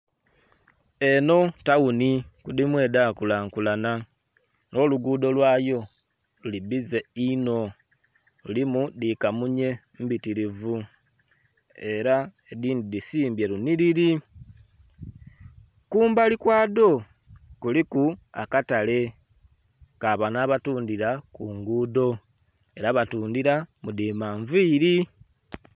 Eno tawuni ku dimu edha kulankulana, nho luguudo lwayo luli bbize inho lulimu dhi kamunye mbitirivu era edhindhi dhisimbye lunhiliri. Kumbali kwa dho kuliku akatale ka bano abatundhira ku nguudo era batundhira mu dhi manviiri.